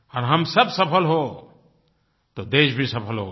और हम सब सफल हों तो देश भी सफल होगा